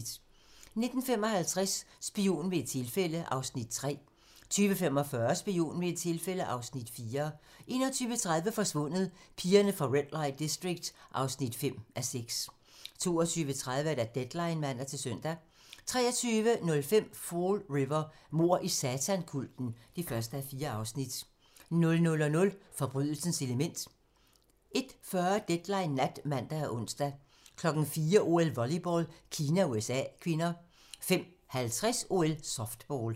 19:55: Spion ved et tilfælde (Afs. 3) 20:45: Spion ved et tilfælde (Afs. 4) 21:30: Forsvundet: Pigerne fra Red Light District (5:6) 22:30: Deadline (man-søn) 23:05: Fall River: Mord i satankulten (1:4) 00:00: Forbrydelsens element 01:40: Deadline Nat (man og ons) 04:00: OL: Volleyball - Kina-USA (k) 05:50: OL: Softball